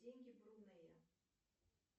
деньги брунея